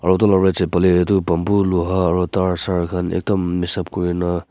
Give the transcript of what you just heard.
utu la right side phale itu bamboo luha aru tar sar khan ekdum mixup kurina.